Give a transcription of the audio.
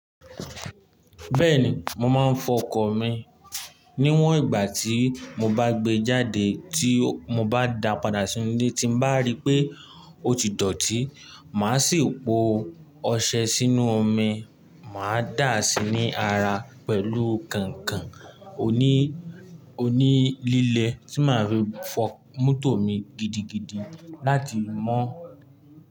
Bẹ́ẹ̀ni, mo máa ń fọ ọkọ̀ mi níwọ̀n ìgbà tí mo bá gbé jáde tí mo bá dàá padà sí ilé tí n bá rí pé ó ti dọ̀tí. Màá sì po ọṣẹ sínú omi, màá dà á sí ní ara pẹ̀lú kànkàn oní-onílélẹ̀ tí màá rí fọ mọ́tò mi gidigidi láti mọ́